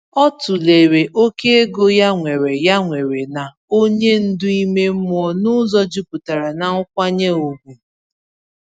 O tụlere oke ego ya nwere ya nwere na onye ndu ime mmụọ n’ụzọ jupụtara n’nkwanye ùgwù.